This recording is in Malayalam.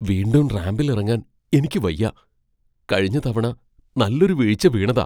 വീണ്ടും റാംപിൽ ഇറങ്ങാൻ എനിയ്ക്കു വയ്യ. കഴിഞ്ഞ തവണ നല്ലൊരു വീഴ്ച്ച വീണതാ.